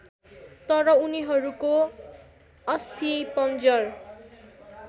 तर उनीहरूको अस्थिपंजर